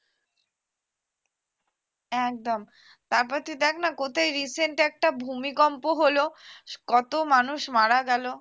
একদম তারপর তুই দেখ না কোথায় recent একটা ভূমিকম্প হলো কত মানুষ মারা গেল